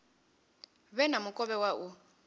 vhe na mukovhe wa u